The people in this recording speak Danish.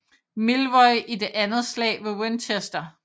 Milroy i det Andet slag ved Winchester